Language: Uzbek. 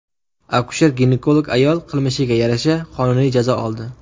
Akusher-ginekolog ayol qilmishiga yarasha qonuniy jazo oldi.